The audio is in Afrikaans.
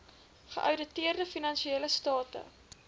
geouditeerde finansiële state